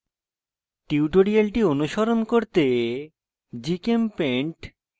tutorial অনুসরণ করতে